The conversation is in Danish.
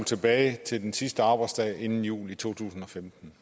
tilbage til den sidste arbejdsdag inden jul i to tusind og femten